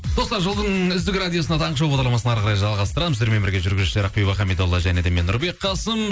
достар жылдың үздік радиосына таңғы шоу бағдарламасын әр қарай жалғастырамыз сіздермен бірге жүргізушілер ақбибі хамидолла және де мен нұрбек қасым